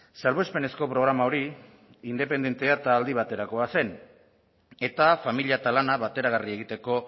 salbuespenezko programa hori independentea eta aldi baterakoa zen eta familia eta lana bateragarri egiteko